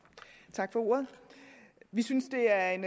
tak for ordet vi synes det er en